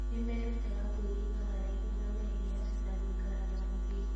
Nĩ merutaga kwĩiga haraihu na mehia na gũikara na ũthingu.